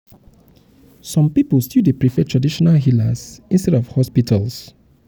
some pipo still dey prefer traditional healers for sickness instead of hospitals.